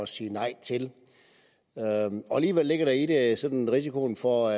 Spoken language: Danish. sige nej til og alligevel ligger der i det sådan risikoen for